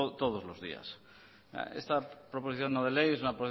todos los días esta proposición no de ley es una